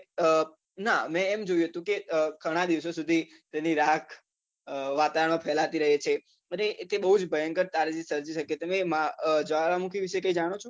ના મેં એમ જોયું હતું કે ઘણા દિવસો સુધી તેની રાખ વાતાવરણમાં ફેલાતી રહે છે અને તે બૌ જ ભયંકર તારાજી સર્જી શકે છે તમે જ્વાળામુખી વિશે કઈ જાણો છે